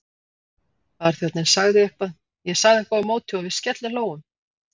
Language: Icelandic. Barþjónninn sagði eitthvað, ég sagði eitthvað á móti og við skellihlógum.